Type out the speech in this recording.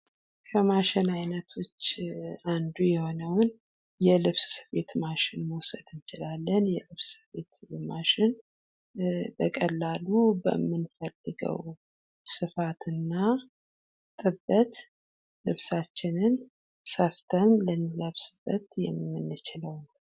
ከማሽን አይነቶች አንዱ የሆነውን የልብስ ስፌት ማሽንን መውሰድ እንችላለን። የልብስ ስፌት ማሽን በቀላሉ በምንፈልገው ስፋት እና ጥበት ልብሳችንን ሰፍተን ልንለበስበት የምንችለው ነው።